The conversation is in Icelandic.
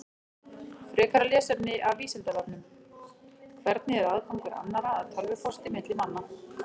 Frekara lesefni af Vísindavefnum: Hvernig er aðgangur annarra að tölvupósti milli manna?